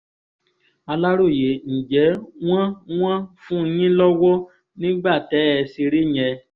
aláròye ǹjẹ́ wọ́n wọ́n fún yín lọ́wọ́ nígbà tẹ́ ẹ ṣeré yẹn